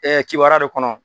Ɛɛ Kibaruya de kɔnɔ